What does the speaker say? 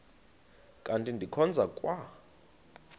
kanti ndikhonza kwa